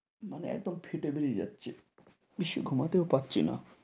মানে একদম ফেটে বেড়িয়ে যাচ্ছে। বেশি ঘুমাতেও পারছি না।